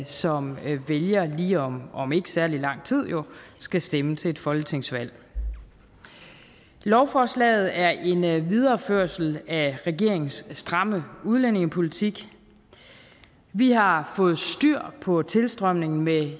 som vælger vælger om ikke særlig lang tid skal stemme til et folketingsvalg lovforslaget er en videreførelse af regeringens stramme udlændingepolitik vi har fået styr på tilstrømningen med